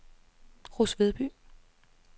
Ruds Vedby